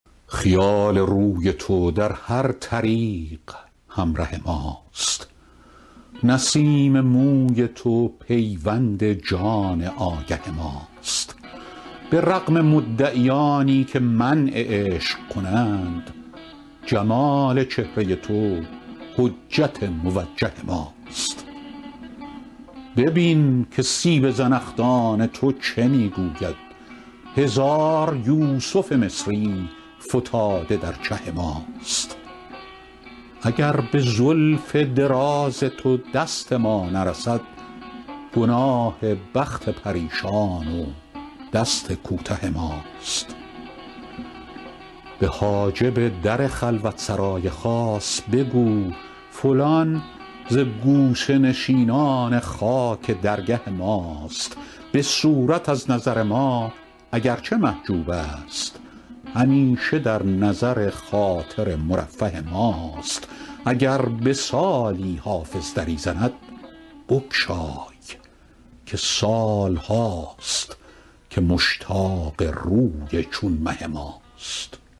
خیال روی تو در هر طریق همره ماست نسیم موی تو پیوند جان آگه ماست به رغم مدعیانی که منع عشق کنند جمال چهره تو حجت موجه ماست ببین که سیب زنخدان تو چه می گوید هزار یوسف مصری فتاده در چه ماست اگر به زلف دراز تو دست ما نرسد گناه بخت پریشان و دست کوته ماست به حاجب در خلوت سرای خاص بگو فلان ز گوشه نشینان خاک درگه ماست به صورت از نظر ما اگر چه محجوب است همیشه در نظر خاطر مرفه ماست اگر به سالی حافظ دری زند بگشای که سال هاست که مشتاق روی چون مه ماست